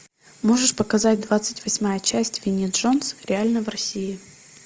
можешь показать двадцать восьмая часть винни джонс реально в россии